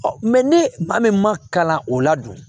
ne maa min ma kalan o la dun